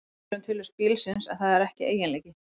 Það segir til um tilvist bílsins, en það er ekki eiginleiki.